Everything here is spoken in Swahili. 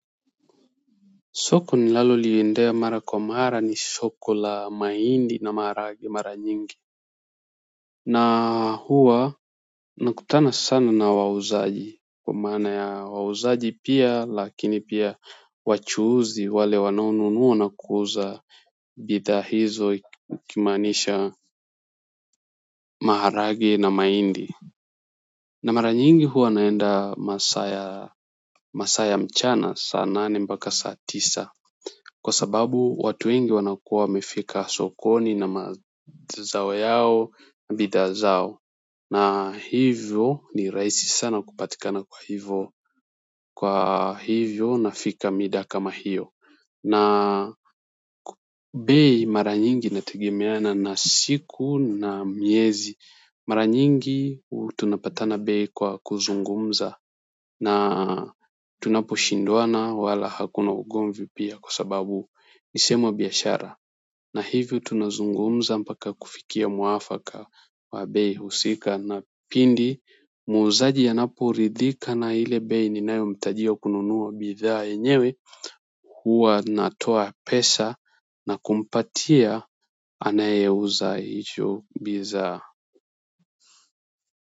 Soko ninalo liendea mara kwa mara ni soko la mahindi na maharagwe mara nyingi na huwa nakutana sana na wauzaji kwa maana ya wauzaji pia lakini pia wachuuzi wale wanao nunua na kuuza bidhaa hizo ukimaanisha maharagwe na mahindi na mara nyingi huwa naenda masaa ya masaa ya mchana sana nane mpaka saa tisa kwa sababu watu wengi wanakuwa wamefika sokoni na mazao yao na bidhaa zao na hivyo ni rahisi sana kupatikana kwa hivyo nafika mida kama hiyo na bei mara nyingi inategemeana na siku na miezi mara nyingi tunapatana bei kwa kuzungumza na tunapo shindwana wala hakuna ugomvi pia kwa sababu nisehemu ya biashara na hivyo tunazungumza mpaka kufikia mwafaka wa bei husika na pindi muuzaji anapo ridhika na ile bei ninayo mtajia kununuwa bidhaa yenyewe huwa natoa pesa na kumpatia anaye uza hicho bidhaa.